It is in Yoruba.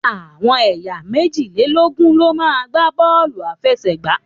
Àwọn ẹyà meji-le-logun lo ma gba bóòlù afesegba